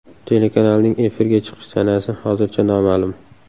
Telekanalning efirga chiqish sanasi hozircha noma’lum.